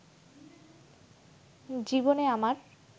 জীবনে আমার